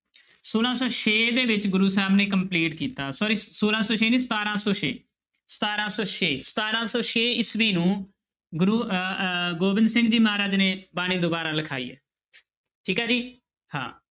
ਛੋਲਾਂ ਸੌ ਛੇ ਦੇ ਵਿੱਚ ਗੁਰੂ ਸਾਹਿਬ ਨੇ complete ਕੀਤਾ sorry ਛੋਲਾਂ ਸੌ ਛੇ ਨੀ ਸਤਾਰਾਂ ਸੌ ਛੇ, ਸਤਾਰਾਂ ਸੌ ਛੇ, ਸਤਾਰਾਂ ਸੌ ਛੇ ਈਸਵੀ ਨੂੰ ਗੁਰੂ ਅਹ ਅਹ ਗੋਬਿੰਦ ਸਿੰਘ ਜੀ ਮਹਾਰਾਜ ਨੇ ਬਾਣੀ ਦੁਬਾਰਾ ਲਿਖਾਈ ਹੈ ਠੀਕ ਹੈ ਜੀ ਹਾਂ।